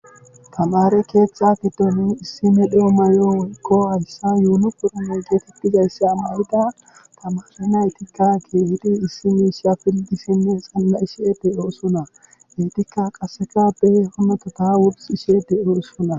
Tamare ketha gidon issi medho mayo mayidi Hasan yuni porime mayo mayidi tamare nayti pilgidhe xana'ishe de'etes heytika qaseka wursishe de'osona